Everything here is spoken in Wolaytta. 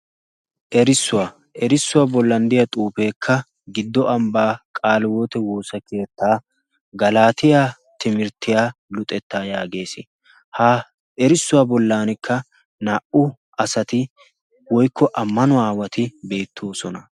Erissuwaa erissuwaa bollanddiya xuufeekka giddo ambbaa qaalwoote woosa keettaa galaatiyaa timirttiyaa luxettaa yaagees. ha erissuwaa bollankka naa"u asati woykko ammanu aawati beettoosona.